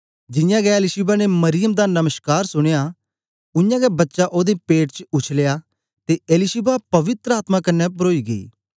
जियां गै एलीशिबा ने मरियम दा नमश्कार सुनया उयांगै बच्चा ओदे पेट च उछलेया ते एलीशिबा पवित्र आत्मा कन्ने परोई गेई